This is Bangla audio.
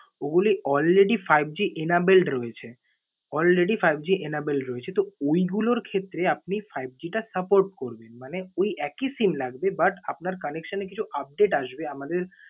ওগুলো already fiveG enabled রয়েছে। Already fiveG enabled রয়েছে। তো ঐগুলোর ক্ষেত্রে আপনি fiveG টা support করবে। মানে ঐ একই SIM লাগবে but আপনার connection এ কিছু update আসবে আমাদের